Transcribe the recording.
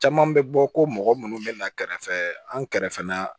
Caman bɛ bɔ ko mɔgɔ minnu bɛ na kɛrɛfɛ an kɛrɛfɛla